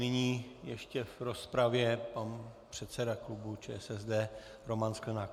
Nyní ještě v rozpravě pan předseda klubu ČSSD Roman Sklenák.